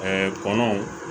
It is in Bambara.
kɔnɔw